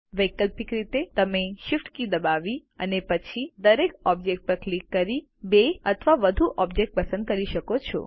વૈકલ્પિક રીતે તમે Shift કી દબાવી અને પછી દરેક ઓબ્જેક્ટ પર ક્લિક કરી બે અથવા વધુ ઓબ્જેક્ટ પસંદ કરી શકો છો